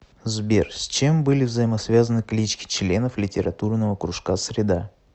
сбер с чем были взаимосвязаны клички членов литературного кружка среда